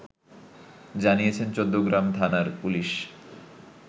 জানিয়েছেন চৌদ্দগ্রাম থানার পুলিশ